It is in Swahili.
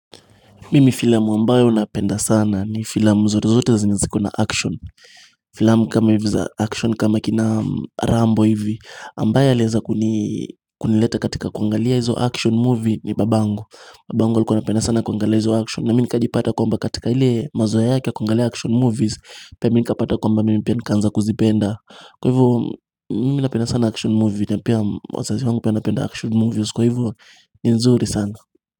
Mimi filamu ambayo napenda sana ni filamu zote zote zenye ziko na action Filamu kama hivi za action kama kina rambo hivi ambaye anaeza kuni kunileta katika kuangalia hizo action movie ni babangu Babangu alikuwa anapenda sana kuangalia hizo action na mimi nikajipata kwamba katika ile mazoea yake ya kuangalia action movies Pia mimi nikapata kwamba mimi pia nikaanza kuzipenda Kwa hivo mimi napenda sana action movie na pia wazazi wangu pia wanapenda action movies Kwa hivo ni nzuri sana.